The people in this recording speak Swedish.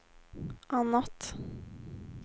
annat